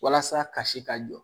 Walasa kasi ka jɔ